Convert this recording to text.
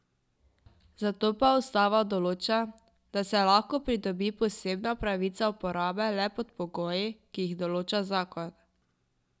Za to pa ustava določa, da se lahko pridobi posebna pravica uporabe le pod pogoji, ki jih določa zakon.